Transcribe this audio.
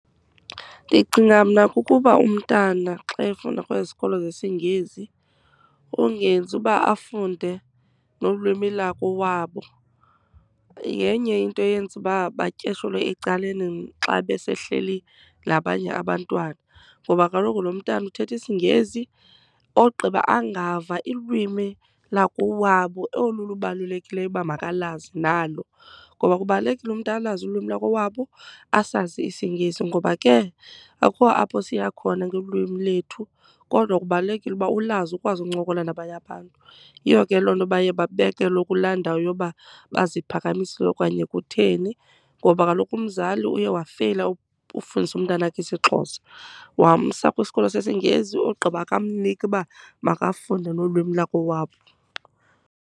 Ndicinga mna kukuba umntana xa efunda kwezi zikolo zesiNgesi ungenzi uba afunde nolwimi lakowabo, yenye into eyenza uba batyeshelwe ecaleni xa besehleli nabanye abantwana. Ngoba kaloku lo mntana uthetha isiNgesi ogqiba angava ilwimi lakowabo olu lubalulekileyo uba makalazi nalo, ngoba kubalulekile umntu alazi ulwimi lakowabo asazi isiNgesi ngoba ke akukho apho siya khona ngolwimi lwethu, kodwa kubalulekile ukuba ulazi ukwazi ukuncokola nabanye abantu. Yiyo ke loo nto baye babekelwe kulaa ndawo yoba baziphakamisile okanye kutheni ngoba kaloku umzali uye wafeyila ufundisa umntanakhe isiXhosa, wamsa kwisikolo sesiNgesi ogqiba akamnika uba makafunde nolwimi lwakowabo.